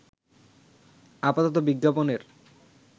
আপাতত বিজ্ঞাপনের